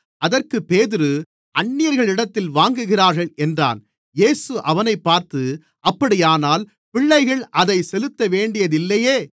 அதற்குப் பேதுரு அந்நியர்களிடத்தில் வாங்குகிறார்கள் என்றான் இயேசு அவனைப் பார்த்து அப்படியானால் பிள்ளைகள் அதைச் செலுத்தவேண்டியதில்லையே